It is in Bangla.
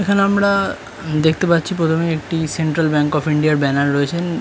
''এখানে আমরা প্রথমেই দেখতে পাচ্ছি প্রথমেই''''একটি সেন্ট্রাল ব্যাঙ্ক অফ ইন্ডিয়া এর ব্যানার রয়েছেন।''